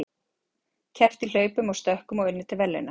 Keppt í hlaupum og stökkum og unnið til verðlauna.